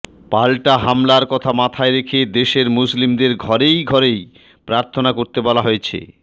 পাল্টা হামলার কথা মাথায় রেখে দেশের মুসলিমদের ঘরেই ঘরেই প্রার্থনা করতে বলা হয়েছে